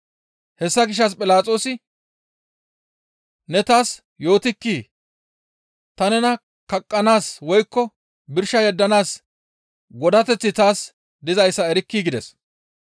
Hessa gishshas Philaxoosi, «Ne taas yootikkii? Ta nena kaqqanaas woykko birsha yeddanaas godateththi taas dizayssa erkkii?» gides.